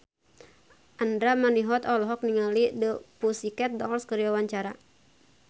Andra Manihot olohok ningali The Pussycat Dolls keur diwawancara